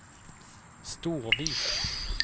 Storvik